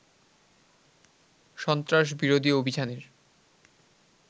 সন্ত্রাস বিরোধী অভিযানের